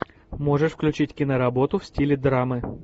можешь включить киноработу в стиле драмы